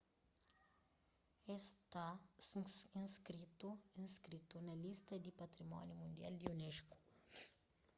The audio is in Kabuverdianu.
es sta inskritu na lista di patrimóniu mundial di unesco